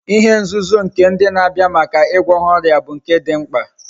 ihe nzuzo ndi na Abia Maka igwo ha oria but nke di mkpa